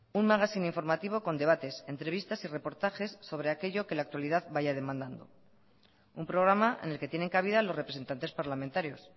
un magazine informativo con debates entrevistas y reportajes sobre aquello que la actualidad vaya demandando un programa en el que tienen cabida los representantes parlamentarios